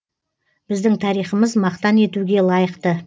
біздің тарихымыз мақтан етуге лайықты